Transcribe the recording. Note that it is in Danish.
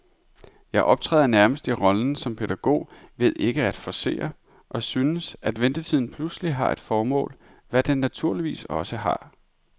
Jeg optræder nærmest i rollen som pædagog ved ikke at forcere, og synes, at ventetiden pludselig har et formål, hvad den naturligvis også har.